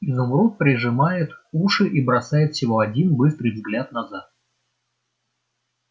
изумруд прижимает уши и бросает всего один быстрый взгляд назад